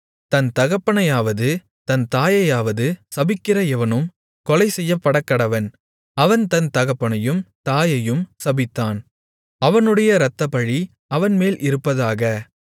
தன் தகப்பனையாவது தன் தாயையாவது சபிக்கிற எவனும் கொலைசெய்யப்படக்கடவன் அவன் தன் தகப்பனையும் தாயையும் சபித்தான் அவனுடைய இரத்தப்பழி அவன்மேல் இருப்பதாக